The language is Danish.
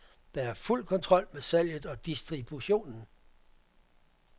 Der er fuld kontrol med salget og distributionen.